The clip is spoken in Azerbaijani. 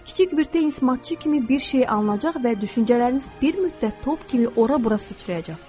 Kiçik bir tenis matçı kimi bir şey alınacaq və düşüncələriniz bir müddət top kimi ora-bura sıçrayacaqdır.